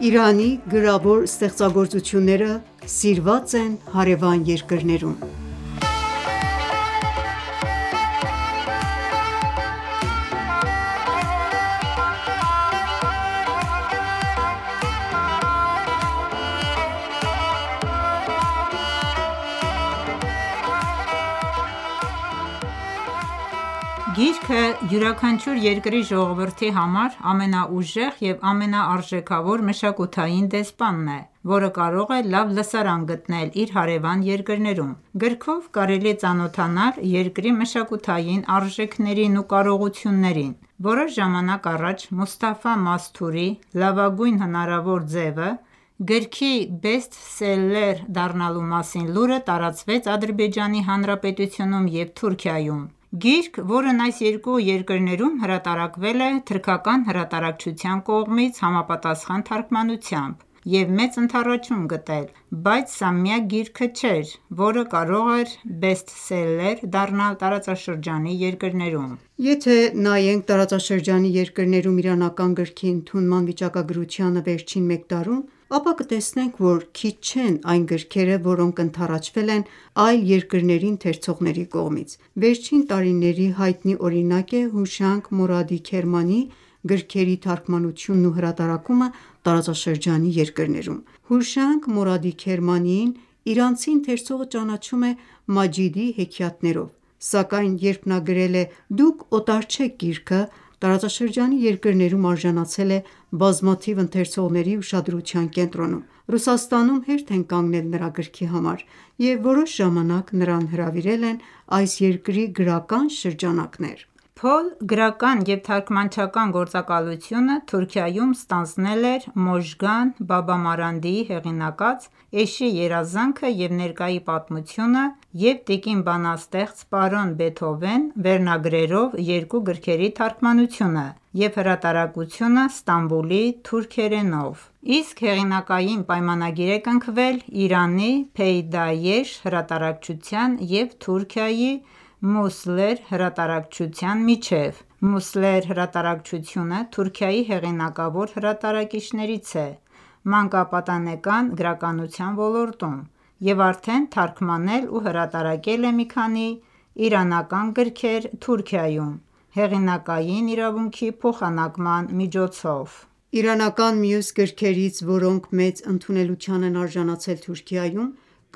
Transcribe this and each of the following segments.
Իրանի գրավոր ստեղծագործությունները սիրված են հարևան երկրներում Գիրքը յուրաքանչյուր երկրի ժողովրդի համար ամենաուժեղ և ամենաարժեքավոր մշակութային դեսպանն է, որը կարող է լավ լսարան գտնել իր հարևան երկրներում։ Գրքով կարելի է ծանոթանալ երկրի մշակութային արժեքներին ու կարողություններին։ Որոշ ժամանակ առաջ Մուստաֆա Մասթուրի «Լավագույն հնարավոր ձևը» գրքի բեսթսելլեր դառնալու մասին լուրը տարածվեց Ադրբեջանի Հանրապետությունում և Թուրքիայում։ Գիրք, որն այս երկու երկրներում հրատարակվել է թուրքական հրատարակչության կողմից՝ համապատասխան թարգմանությամբ և մեծ ընդառաջում գտել։ Բայց սա միակ գիրքը չէր, որը կարող էր բեսթսելլեր դառնալ տարածաշրջանի երկրներում։ Եթե նայենք տարածաշրջանի երկրներում իրանական գրքի ընդունման վիճակագրությանը վերջին մեկ տարում, ապա կտեսնենք, որ քիչ չեն այն գրքերը, որոնք ընդառաաջվել են այլ երկրների ընթերցողների կողմից։ Վերջին տարիների հայտնի օրինակ է Հուշանգ Մորադի Քերմանիի գրքերի թարգմանությունն ու հրատարակումը տարածաշրջանի երկրներում։ Հուշանգ Մորադի Քերմանիին իրանցի ընթերցողը ճանաչում է «Մաջիդի հեքիաթներով» սակայն երբ նա գրել է «Դուք օտար չեք» գիրքը, տարածաշրջանի երկրներում արժանցել է բազմաթիվ ընթերցողների ուշադրության կենտրոնում։ Ռուսաստանում հերթ են կանգնել նրա գրքի համար և որոշ ժամանակ նրան հրավիրել են այս երկրի գրական շրջանակներ։ Փոլ գրական և թարգմանչական գործակալությունը Թուրքիայում ստանձնել էր Մոժգան Բաբամարանդիի հեղինակած «Էշի երազանքը և ներկայի պատմությունը» և «Տիկին բանաստեղծ, պարոն Բեթհովեն» վերնագրերով երկու գրքերի թարգմանությունը և հրատարակությունը ստամբուլի թուրքերենով: Իսկ հեղինակային պայմանագիր է կնքվել Իրանի «Փեյդայեշ» հրատարակչության և Թուրքիայի «Musmler» հրատարակչության միջև։«Musmler» հրատարակչությունը Թուրքիայի հեղինակավոր հրատարակիչներից է մանկապատանեկան գրականության ոլորտում և արդեն թարգմանել և հրատարակել է մի քանի իրանական գրքեր Թուրքիայում՝ հեղինակային իրավունքի փոխանակման միջոցով: Իրանական մյուս գրքերից, որոնք մեծ ընդունելության են արժանացել Թուրքիայում,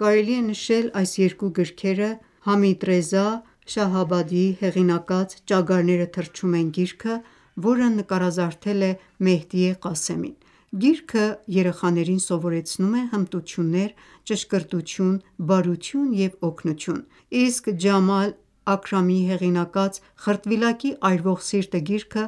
կարելի է նշել այս երկու գրքերը՝ Համիդռեզա Շահաբադիի հեղինակած «Ճագարները թռչում են» գիրքը, որը նկարազարդել է Մեհդիե Ղասեմին։ Գիրքը երեխաներին սովորեցնում է հմտություններ, ճշգրտություն, բարություն և օգնություն: Իսկ Ջամալ Աքրամիի հեղինակած «Խրտվիլակի այրվող սիրտը» գիրքը,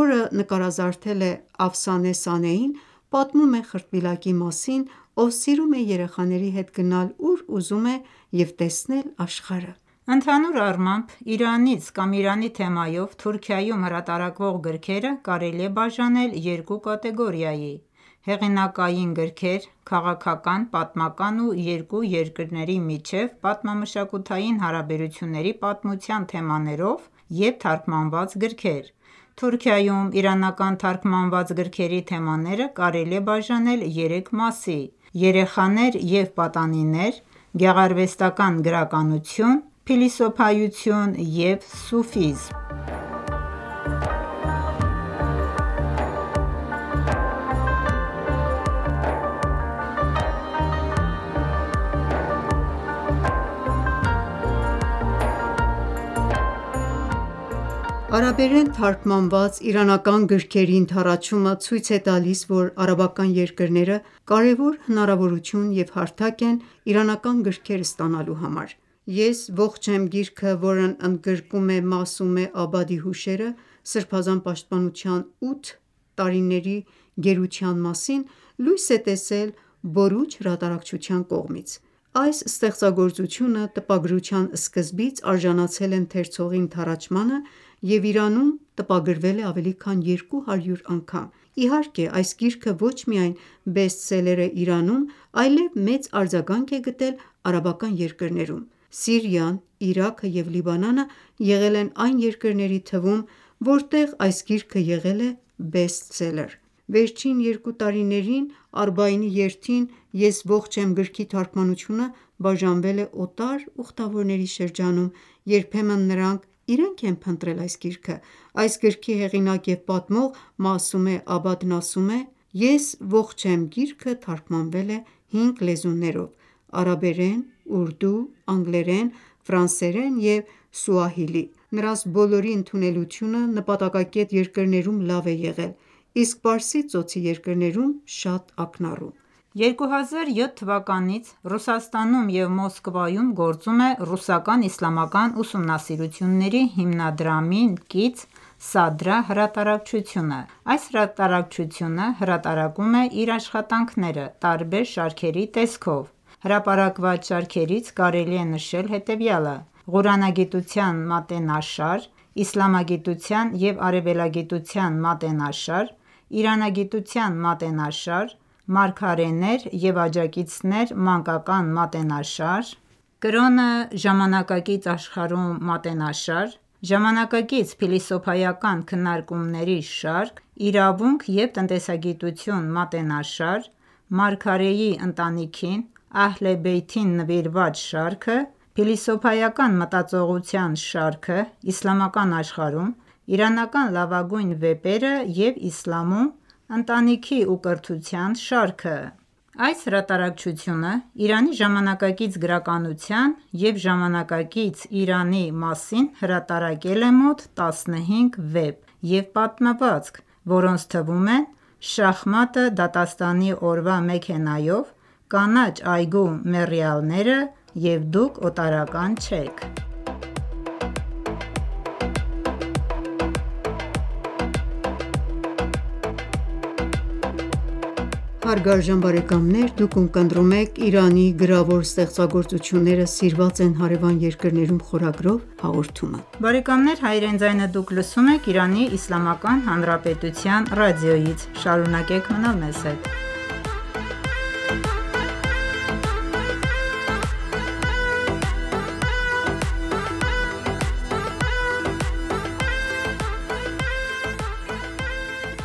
որը նկարազարդել է Աֆսանե Սանեին, պատմում է խրտվիլակի մասին, ով սիրում է երեխաների հետ գնալ ուր ուզում է և տեսնել աշխարհը։ Ընդհանուր առմամբ, Իրանից կամ Իրանի թեմայով Թուրքիայում հրատարակվող գրքերը կարելի է բաժանել երկու կատեգորիայի։ Հեղինակային գրքեր՝ քաղաքական, պատմական և երկու երկրների միջև պատմամշակութային հարաբերությունների պատմության թեմաներով և՛ Թարգմանված գրքեր։ Թուրքիայում իրանական թարգմանված գրքերի թեմաները կարելի է բաժանել երեք մասի՝ երեխաներ և պատանիներ, գեղարվեստական գրականություն, փիլիսոփայություն և սուֆիզմ: Արաբերեն թարգմանված իրանական գրքերի ընդառաջումը ցույց է տալիս, որ արաբական երկրները կարևոր հնարավորություն և հարթակ են իրանական գրքեր ստանալու համար։ «Ես ողջ եմ» գիրքը, որն ընդգրկում է Մասումե Աբադի հուշերը Սրբազան պաշտպանության ութ տարիների գերության մասին, լույս է տեսել Բորուջ հրատարակչության կողմից։ Այս ստեղծագործությունը տպագրության սկզբից արժանացել է ընթերցողի ընդառաջմանը և Իրանում տպագրվել է ավելի քան երկու հարյուր անգամ։ Իհարկե, այս գիրքը ոչ միայն բեսթսելլեր է Իրանում, այլեւ մեծ արձագանք է գտել արաբական երկրներում: Սիրիան, Իրաքը և Լիբանանը եղել են այն երկրների թվում, որտեղ այս գիրքը եղել է բեսթսելլեր: Վերջին երկու տարիներին Արբաինի երթին «Ես ողջ եմ» գրքի թարգմանությունը բաժանվել է օտար ուխտավորների շրջանում, երբեմն նրանք իրենք են փնտրել այս գիրքը։ Այս գրքի հեղինակ և պատմող Մասումե Աբադն ասում է. –««Ես ողջ եմ» գիրքը թարգմանվել է հինգ լեզուներով՝ արաբերեն, ուրդու, անգլերեն, ֆրանսերեն և սուահիլի։ Նրանց բոլորի ընդունելությունը նպատակակետ երկրներում լավ է եղել, իսկ Պարսից ծոցի երկրներում՝ շատ ակնառու»։ 2007 թվականից Ռուսաստանում և Մոսկվայում գործում է «Ռուսական իսլամական ուսումնասիրությունների հիմնադրամին» կից «Սադրա» հրատարակչությունը։ Այս հրատարակչությունը հրատարակում է իր աշխատանքները տարբեր շարքերի տեսքով։ Հրապարակված շարքերից կարելի է նշել հետևյալը՝ Ղուրանագիտության մատենաշար, Իսլամագիտության և արևելագիտության մատենաշար, Իրանագիտության մատենաշար, Մարգարեներ և աջակիցներ մանկական մատենաշար, Կրոնը ժամանակակից աշխարհում մատենաշար, Ժամանակակից փիլիսոփայական քննարկումների շարք, իրավունք և տնտեսագիտություն մատենաշար, Մարգարեի ընտանիքին՝ Ահլե Բեյթին նվիրված շարքը, փիլիսոփայական մտածողության շարքը իսլամական աշխարհում, իրանական լավագույն վեպերը և իսլամում ընտանիքի և կրթության շարքը:Այս հրատարակչությունը «Իրանի ժամանակակից գրականության» և «ժամանակակից Իրանի» մասին հրապարակել է մոտ 15 վեպ ու պատմվածք, որոնց թվում են՝ «Շախմատը դատաստանի օրվա մեքենայով»,»Կանաչ այգու մեռյալները» և «Դուք օտարական չեք»։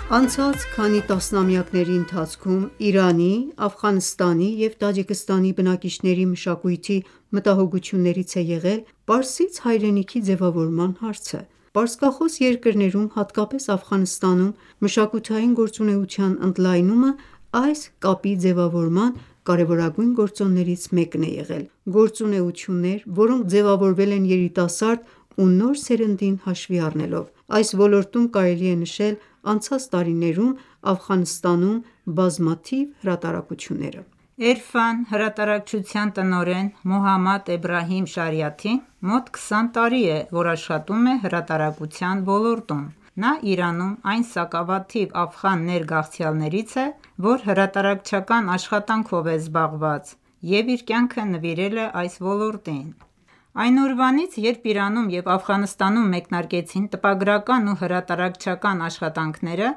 Անցած քանի տասնամյակների ընթացքում Իրանի, Աֆղանստանի և Տաջիկստանի բնակիչների մշակույթի մտահոգություններից է եղել «Պարսից հայրենիքի» ձևավորման հարցը։ Պարսկախոս երկրներում հատկապես Աֆղանստանում մշակութային գործունեության ընդլայնումը այս կապի ձևավորման կարևորագույն գործոններից մեկն է եղել։ Գործունեություններ, որոնք ձևավորվել են երիտասարդ ու նոր սերնդին հաշվի առնելով։ Այս ոլորտում կարելի է նշել անցած տարիներում Աֆղանստանում բազմաթիվ հրատարակությունները։ Էրֆան հրատարակչության տնօրեն՝ Մոհամմադ Էբրահիմ Շարիաթին մոտ 20 տարի է,որ աշխատում է հրատարակության ոլորտում։ Նա Իրանում այն սակավաթիվ աֆղան ներգաղթյալներից է,որ հրատարակչական աշխատանքով է զբաղված և իր կյանքը նվիրել է այս ոլորտին։ Այն օրվանից երբ Իրանում և Աֆղանստանում մեկնարկեցին տպագրական ու հրատարակչական աշխատանքները,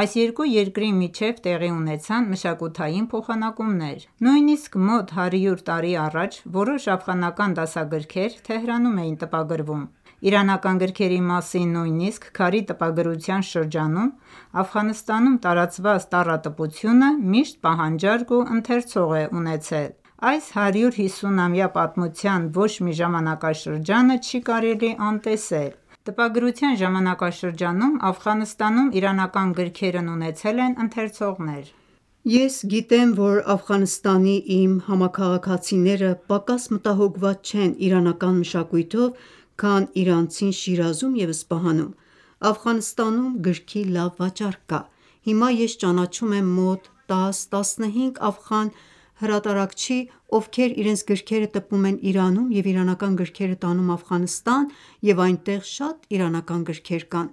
այս երկու երկրի միջև տեղի ունեցան մշակութային փոխանակումներ։ Նույնիսկ մոտ հարյուր տարի առաջ որոշ աֆղանական դասագրքեր Թեհրանում էին տպագրվում։ Իրանական գրքերի մասին նույնիսկ քարի տպագրության շրջանում Աֆղանստանում տարածված տառատպությունը միշտ պահանջարկ ու ընթերցող է ունեցել։ Այս 150-ամյա պատմության ոչ մի ժամանակաշրջանը չի կարելի անտեսել, քարի վրա տպագրության ժամանակաշրջանում Աֆղանստանում իրանական գրքերն ունեցել են ընթերցողներ։ «Ես գիտեմ, որ Աֆղանստանի իմ համաքաղաքացիները պակաս մտահոգված չեն իրանական մշակույթով, քան իրանցին Շիրազում և Սպահանում: Աֆղանստանում գրքի լավ վաճառք կա։ Հիմա ես ճանաչում եմ մոտ 10, 15 աֆղան գրահրատարակչի, ովքեր իրենց գրքերը տպում են Իրանում և իրանական գրքերը տանում Աֆղանստան, և այնտեղ շատ իրանական գրքեր կան: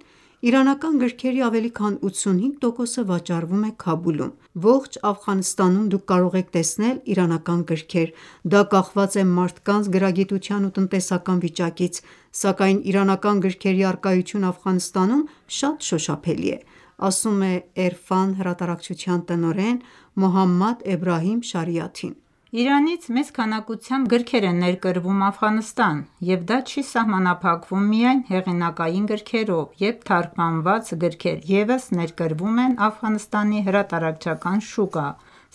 Իրանական գրքերի ավելի քան 85%-ը վաճառվում է Քաբուլում։ Ողջ Աֆղանստանում դուք կարող եք տեսնել իրանական գրքեր։ Դա կախված է մարդկանց գրագիտության ու տնտեսական վիճակից, սակայն իրանական գրքերի առկայությունը Աֆղանստանում շատ շոշափելի է»,ասում է Էրֆան հրատարակչության տնօրեն՝ Մոհամմադ Էբրահիմ Շարիաթին ։ Իրանից մեծ քանակությամբ գրքեր են ներկրվում Աֆղանստան, և դա չի սահմանափակվում միայն հեղինակային գրքերով, և թարգմանված գրքեր ևս ներկրվում են Աֆղանստանի հրատարակչական շուկա։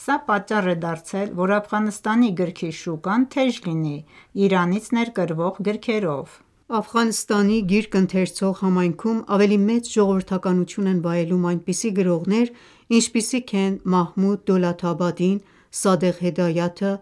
Սա պատճառ է դարձել, որ Աֆղանստանի գրքի շուկան թեժ լինի Իրանից ներկրվող գրքերով։ Աֆղանստանի գիրք ընթերցող համայնքում ավելի մեծ ժողովրդականություն են վայելում այնպիսի գրողներ, ինչպիսիք են Մահմուդ Դոլաթաբադին, Սադեղ Հեդայաթը,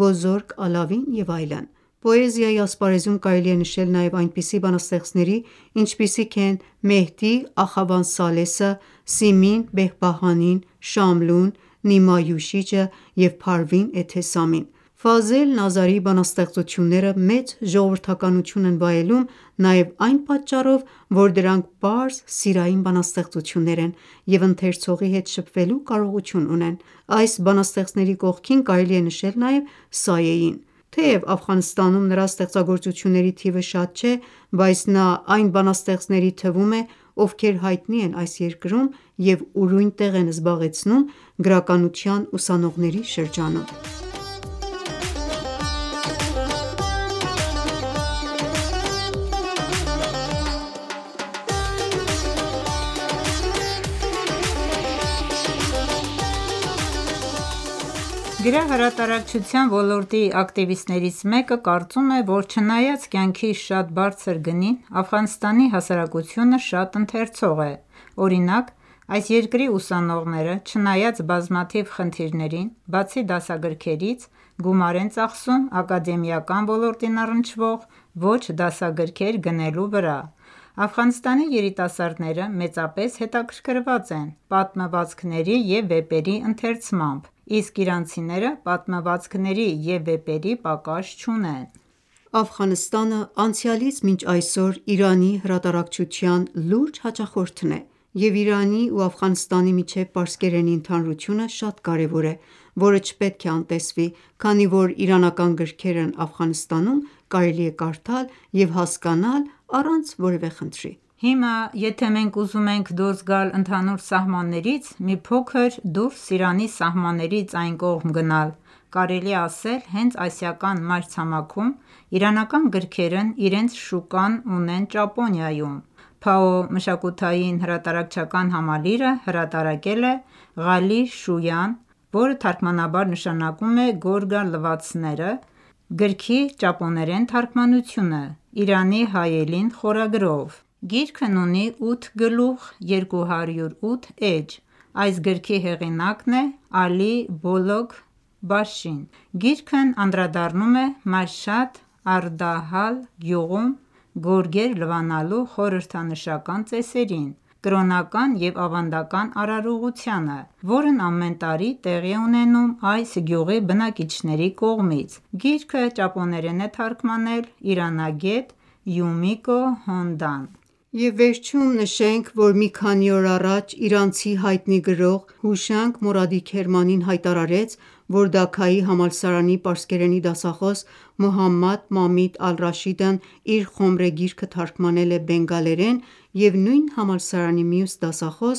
Բոզորգ Ալավին և այլն։ Պոեզիայի ասպարեզում կարելի է նշել նաև այնպիսի բանաստեղծների, ինչպիսիք են Մեհդի Ախավան Սալեսը, Սիմին Բեհբահանին, Շամլուն, Նիմա Յուշիջը և Փարվին Էթեսամին։ Ֆազել Նազարիի բանաստեղծությունները մեծ ժողովրդականություն են վայելում նաեւ այն պատճառով, որ դրանք պարզ սիրային բանաստեղծություններ են եւ ընթերցողի հետ շփվելու կարողություն ունեն։ Այս բանաստեղծների կողքին կարելի է նշել նաև Սայեին։ Թեև Աֆղանստանում նրա ստեղծագործությունների թիվը շատ չէ, բայց նա այն բանաստեղծների թվում է, ովքեր հայտնի են այս երկրում և ուրույն տեղ են զբաղեցնում գրականության ուսանողների շրջանում։ Գրահրատարակչության ոլորտի ակտիվիստներից մեկը կարծում է, որ չնայած կյանքի շատ բարձր գնին, Աֆղանստանի հասարակությունը շատ ընթերցող է։ Օրինակ՝ այս երկրի ուսանողները, չնայած բազմաթիվ խնդիրներին, բացի դասագրքերից, գումար են ծախսում ակադեմիական ոլորտին առնչվող ոչ դասագրքեր գնելու վրա։ Աֆղանստանի երիտասարդները մեծապես հետաքրքրված են պատմվածքների և վեպերի ընթերցմամբ, իսկ իրանցիները պատմվածքների և վեպերի պակաս չունեն: Աֆղանստանը անցյալից մինչ այսօր Իրանի հրատարակչության լուրջ հաճախորդն է, և Իրանի ու Աֆղանստանի միջև պարսկերենի ընդհանրությունը շատ կարևոր է, որը չպետք է անտեսվի, քանի որ իրանական գրքերն Աֆղանստանում կարելի է կարդալ և հասկանալ առանց որևէ խնդրի: Հիմա, եթե մենք ուզում ենք դուրս գալ ընդհանուր սահմաններից, մի փոքր դուրս Իրանի սահմաններից այն կողմ գնալ, կարելի է ասել հենց ասիական մայրցամաքում, իրանական գրքերն իրենց շուկան ունեն Ճապոնիայում: Pao մշակութային-հրատարակչական համալիրը հրատարակել է «Ղալի Շույան» (թարգ․Գորգալվացները)գրքի ճապոներեն թարգմանությունը՝ «Իրանի հայելին» խորագրով։ Գիրքն ունի 8 գլուխ 208 էջ։ Այս գրքի հեղինակն է Ալի Բոլոքքբաշին։ Գիրքն անդրադառնում է Մաշհադ-ե Արդահալ գյուղում գորգեր լվանալու խորհրդանշական ծեսերին, կրոնական և ավանդական արարողությանը, որն ամեն տարի տեղի է ունենում այս գյուղի բնակիչների կողմից: Գիրքը ճապոներեն է թարգմանել է իրանագետ Յումիկո Հոնդան։ Եվ վերջում նշենք, որ մի քանի օր առաջ իրանցի հայտնի գրող Հուշանգ Մորադի Քերմանին հայտարարեց, որ Դաքայի համալսարանի պարսկերենի դասախոս՝ Մոհամմադ Մամիտ ալ-Ռաշիդն իր «Խոմրե» գիրքը թարգմանել է բենգալերեն, և նույն համալսարանի մյուս դասախոս՝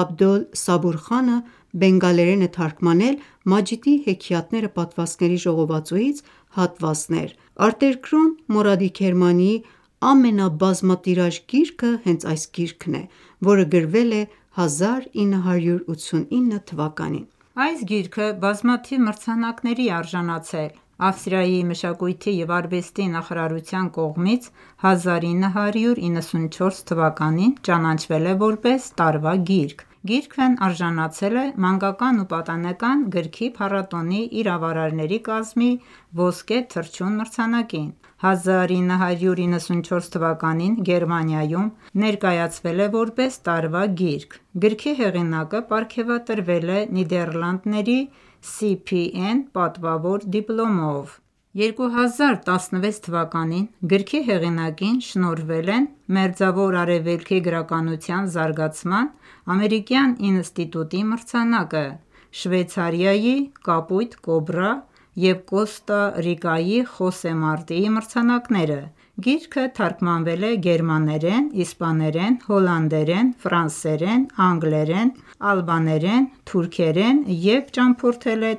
Աբդոլ Սաբուրխանը, բենգալերեն է թարգմանել «Մաջիդի հեքիաթները» պատմվածքների ժողովածուից հատվաներ։ Արտերկրում, Մորադի Քերմանիի ամենաբազմատիրաժ գիրքը հենց այս գիրքն է,որը գրվել 1989 թվականին։ Այս գիրքը բազմաթիվ մրցանակների է արժանացել։ Ավստրիայի մշակույթի և արվեստի նախարարության կողմից 1994 թ․ ճանաչվել է ,որպես տարվա գիրք։ Գիրքն արժանացել է մանկական ու պատանեկան գրքի փառատոնի իրավարարների կազմի ոսկե թռչուն մրցանակին։ 1994 թ․ Գերմանիայում ներկայացվել է,որպես տարվա գիրք։ Գրքի հեղինակը պարգևատրվել է Նիդեռլանդների CPN պատվավոր դիպլոմով։ 2016 թվականին գրքի հեղինակին շնորհվել են Մերձավոր Արևելքի գրականության զարգացման ամերիկյան ինստիտուտի մրցանակը, Շվեյցարիայի «Կապույտ Կոբրա» և Կոստա Ռիկայի Խոսե Մարտիի մրցանակները։ Գիրքը թարգմանվել է գերմաներեն, իսպաներեն, հոլանդերեն, ֆրանսերեն, անգլերեն, ալբաներեն, թուրքերեն, և ճամփորդել է